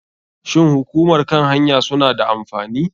Shin hukumar kan hanya suna da amfani?